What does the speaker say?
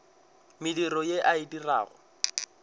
mediro ye a e dirago